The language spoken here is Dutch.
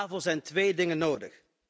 Daarvoor zijn twee dingen nodig.